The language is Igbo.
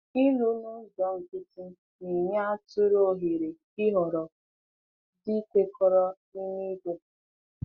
Ịlụ n’ụzọ nkịtị na-enye atụrụ ohere ịhọrọ di kwekọrọ n’ime ìgwè.